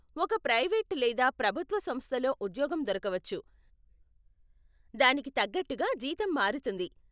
ఒక ప్రైవేట్ లేదా ప్రభుత్వ సంస్థలో ఉద్యోగం దొరకవచ్చు, దానికి తగ్గట్టుగా జీతం మారుతుంది.